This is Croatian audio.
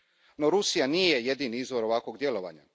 No Rusija nije jedini izvor ovakvog djelovanja.